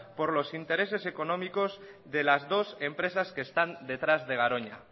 por los intereses económicos de las dos empresas que están detrás de garoña